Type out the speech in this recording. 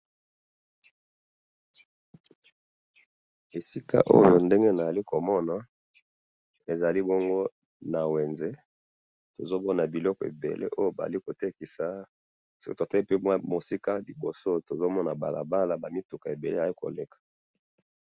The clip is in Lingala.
esika oyo ndenge nazali komona, ezali bongo na wenze, tozomona biloko ebele oyo bazali kotekisa, soki totali pe musika liboso tozomona balabala, ba mituka ebele ezali koleka